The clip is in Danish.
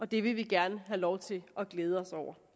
det vil vi gerne have lov til at glæde os over